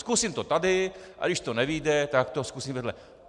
Zkusím to tady, a když to nevyjde, tak to zkusím vedle.